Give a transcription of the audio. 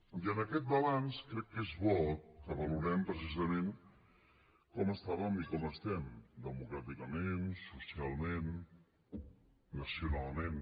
i en aquest balanç crec que és bo que valorem precisament com estàvem i com estem democràticament socialment nacionalment